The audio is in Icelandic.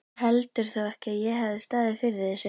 Þú heldur þó ekki, að ég hafi staðið fyrir þessu?